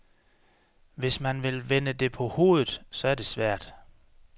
Hvis man vil vende det på hovedet, så er det svært.